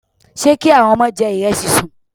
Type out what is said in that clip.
Ṣé kí àwọn ọmọ jẹ ìrẹsì sùn?